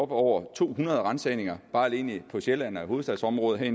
på over to hundrede ransagninger alene på sjælland og i hovedstadsområdet her